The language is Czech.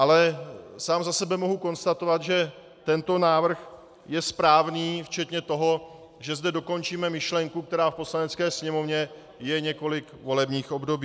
Ale sám za sebe mohu konstatovat, že tento návrh je správný včetně toho, že zde dokončíme myšlenku, která v Poslanecké sněmovně je několik volebních období.